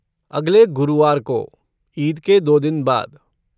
अगले गुरुवार को, ईद के दो दिन बाद।